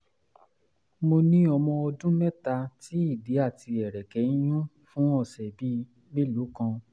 mo ní ọmọ ọdún mẹ́ta tí ìdí àti ẹ̀rẹ̀kẹ́ ń yún fún ọ̀sẹ̀ bíi mélòó kan